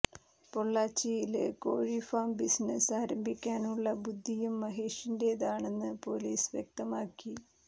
പൊള്ളാച്ചിയില് കോഴി farm business ആരംഭിക്കാനുള്ള ബുദ്ധിയും മഹേഷിന്റേതാണെന്ന് പോലീസ് വ്യക്തമാക്കി